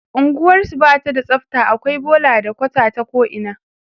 unguwarsu Bata da tsafta akwai bola da kwata ta ko ina